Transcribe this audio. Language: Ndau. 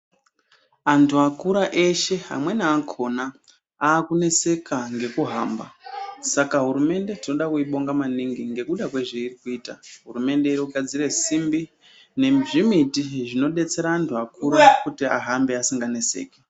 Antu akura eshe amweni akona akuneseka ngekuhamba. Saka hurumende tinoda kuibonga maningi ngekuda kwezveirikuita hurumende yogadzire simbi nezvimiti zvinobetsera antu akura kuti ahambe asinganeseki.